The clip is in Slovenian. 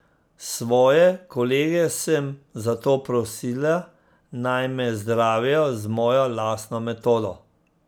Svoje kolege sem zato prosila, naj me zdravijo z mojo lastno metodo.